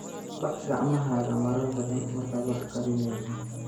Dhaq gacmahaaga marar badan markaad wax karinayso.